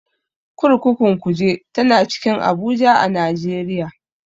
Kurkukun Kuje tana cikin Abuja a Najeriya.